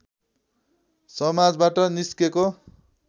समाजबाट निस्केको